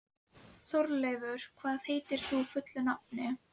Þegar Ari sneri sér við varð þétt fylking fyrir honum.